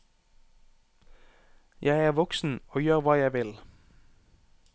Jeg er voksen og gjør hva jeg vil.